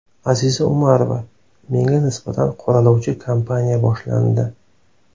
Aziza Umarova: Menga nisbatan qoralovchi kampaniya boshlandi.